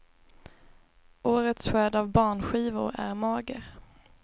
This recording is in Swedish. Årets skörd av barnskivor är mager.